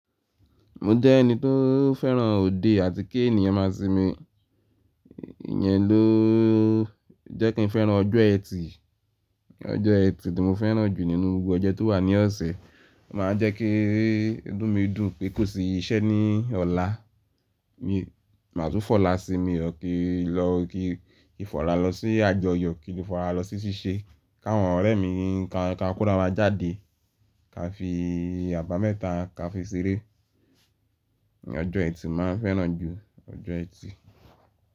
Mo jẹ́ ẹni tó fẹ́ràn òde àti kí ènìyàn máa sinmi. Iyẹn ló jẹ́ kí n fẹ́ràn ọjọ́ Ẹtì. Ọjọ́ Ẹtì tí mo fẹ́ràn jù nínú gbogbo ọjọ́ tó wà ní ọ̀sẹ̀. Ó máa ń jẹ́ kí inú mi dùn pé kò sí iṣẹ́ ní ọ̀la. Má tún fọ̀la sí mi tàbí ki n lọ, kí n fọ̀la lọ sí àjọyọ̀, kí n fọ̀là lọ sí ṣíṣe. Ki àwọn ọ̀rẹ́ mi, ka ko ara wa jáde, ka fi àbá mẹ́ta, ka fi ṣeré. Ọjọ́ ẹtì ni mo máa ń fẹ́ràn ju, ọjọ́ ẹtì.